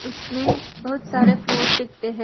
उसमें बहोत सारे फ्लोर्स दिखते है।